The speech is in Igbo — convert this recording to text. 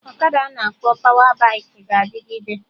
Ọkada ana akpọ pawa baikị ga-adịgide